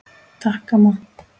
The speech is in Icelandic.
Takk, amma.